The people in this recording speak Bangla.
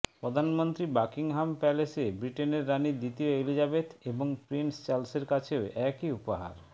প্রধানমন্ত্রী বাকিংহাম প্যালেসে ব্রিটেনের রানী দ্বিতীয় এলিজাবেথ এবং প্রিন্স চার্লসের কাছেও একই উপহার